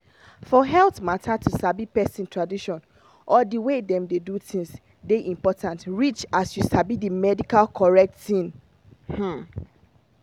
for health mata to sabi person tradition or the way dem dey do things dey important reach as you sabi the medical correct thing. um